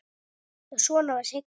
Já, svona var Sigga!